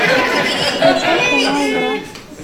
включай кино игра